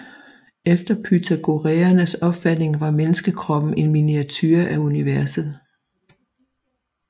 Efter pythagoræernes opfatning var menneskekroppen en miniature af universet